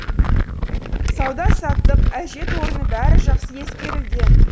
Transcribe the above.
сауда саттық әжет орны бәрі жақсы ескерілген